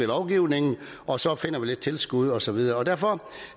lovgivningen og så finder vi lidt tilskud og så videre derfor